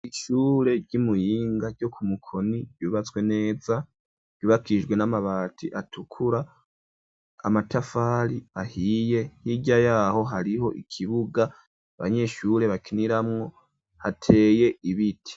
Ishure ry'imuyinga ryo ku mukoni ryubatswe neza ryubakijwe n'amabati atukura amatafari ahiye hirya yaho hariho ikibuga banyeshure bakiniramwo hateye ibiti.